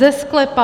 Ze sklepa.